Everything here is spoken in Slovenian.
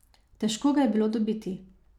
Težko ga je bilo dobiti.